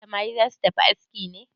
Samari za su tafi aski ne?